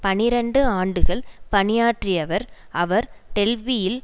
பனிரண்டு ஆண்டுகள் பணியாற்றியவர் அவர் டெல்பியில்